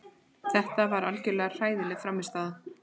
Þetta var algjörlega hræðileg frammistaða.